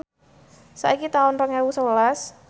saiki taun rong ewu sewelas